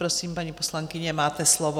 Prosím, paní poslankyně, máte slovo.